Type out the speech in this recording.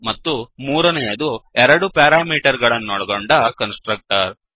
ಮತ್ತು ಮೂರನೆಯದು ಎರಡು ಪ್ಯಾರಾಮೀಟರಗಳನ್ನೊಳಗೊಂಡ ಕನ್ಸ್ ಟ್ರಕ್ಟರ್